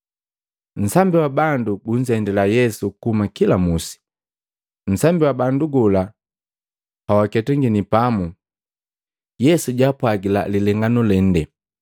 Nsambi wa bandu gunzendila Yesu kuhuma kila musi, nu nsambi wa bandu gola pawaketangini pamu, Yesu jaapwajila lilenganu lende.